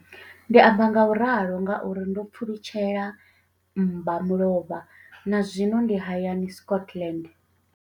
Ndi amba ngauralo nga uri ndo pfulutshela mmbamulovha na zwino ndi hayani, Scotland.